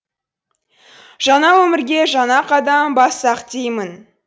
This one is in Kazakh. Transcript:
жаңа өмірге жаңа қадам бассақ деймін